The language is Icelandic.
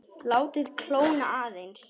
Látið kólna aðeins.